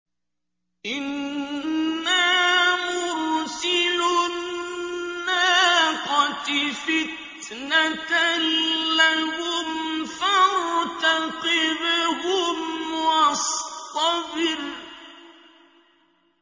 إِنَّا مُرْسِلُو النَّاقَةِ فِتْنَةً لَّهُمْ فَارْتَقِبْهُمْ وَاصْطَبِرْ